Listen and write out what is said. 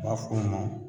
U b'a fɔ o ma